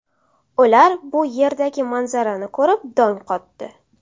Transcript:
Ular bu yerdagi manzarani ko‘rib dong qotdi.